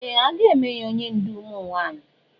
Ee! A ga-eme ya onye ndú ụmụ nwaanyị.